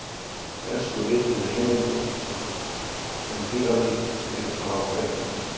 Elstu rituðu heimildir um dýralíf eru frá Grikklandi.